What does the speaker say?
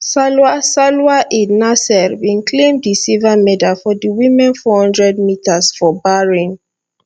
salwa salwa eid naser bin claim di silver medal for di women four metres for bahrain